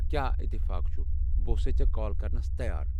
كیاہ اتفاق چُھ ، بہٕ اوسَے ژےٚ كال كرنس تیار ۔